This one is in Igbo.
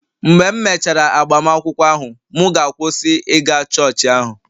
Mgbe m mechara agbamakwụkwọ ahụ, mụ ga-akwụsị ịga chọọchị ahụ